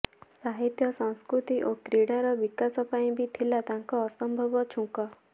ସାହିତ୍ୟ ସଂସ୍କୃତି ଓ କ୍ରୀଡ଼ାର ବିକାଶ ପାଇଁ ବି ଥିଲା ତାଙ୍କ ଅସମ୍ଭବ ଝୁଙ୍କ